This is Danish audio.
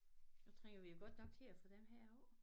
Nu trænger vi jo godt nok til at få den her af